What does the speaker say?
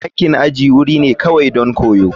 Dakin aji wuri ne kawai don koyo.